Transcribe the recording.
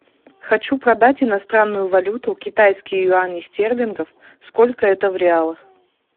хочу продать иностранную валюту китайские юани стерлингов сколько это в реалах